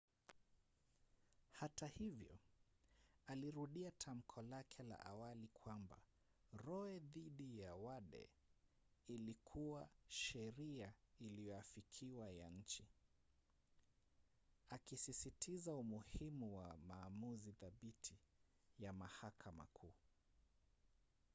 hata hivyo alirudia tamko lake la awali kwamba roe dhidi ya wade ilikuwa sheria iliyoafikiwa ya nchi akisisitiza umuhimu wa maamuzi thabiti ya mahakama kuu